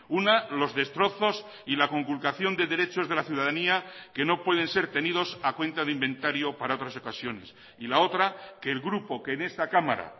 una los destrozos y la conculcación de derechos de la ciudadanía que no pueden ser tenidos a cuenta de inventario para otras ocasiones y la otra que el grupo que en esta cámara